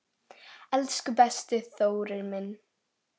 Elsku besti Þórir minn.